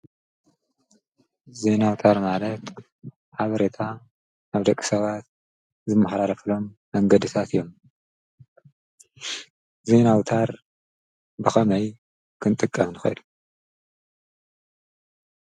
ዜና ኣውታር ማለት ሓበሬታ ኣብ ደቂ ሰባት ዝመሓላለፉሎም መንገድታት እዮም፡፡ ዜና ኣውታር ብከመይ ክንጥቀም ንክእል?